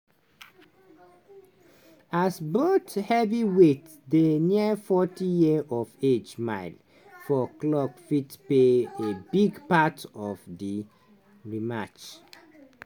as both heavyweights dey near forty year of age miles for clock fit play a big part of di di rematch.